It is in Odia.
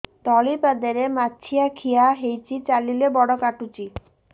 ତଳିପାଦରେ ମାଛିଆ ଖିଆ ହେଇଚି ଚାଲିଲେ ବଡ଼ କାଟୁଚି